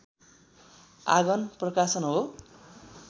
आँगन प्रकाशन हो